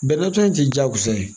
Bɛnɛ ta in tɛ jagosa ye